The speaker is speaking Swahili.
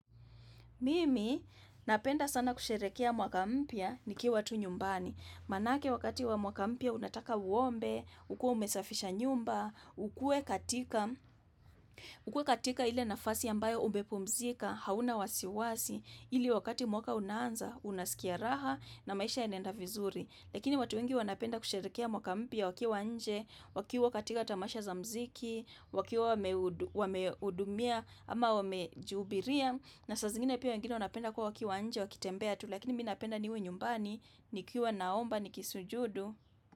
Mimi napenda sana kusherekea mwaka mpya nikiwa tu nyumbani. Manake wakati wa mwaka mpia unataka uombe, ukue umesafisha nyumba, ukue katika, ukue katika ile nafasi ambayo umepumzika, hauna wasiwasi, ili wakati mwaka unanza, unasikia raha na maisha yanaenda vizuri. Lakini watu wengi wanapenda kusherekea mwaka mpya wakiwa nje, wakiwa katika tamasha za mziki, wakiwa wamehudumia ama wamejihubiria. Na sa zingine pia wengine wanapenda kwa wakiwa nje wakitembea tu lakini mimi napenda niwe nyumbani, nikiwa naomba, nikisujudu.